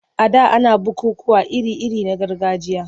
A da ana bukukkuwa iri-iri na gargajiya.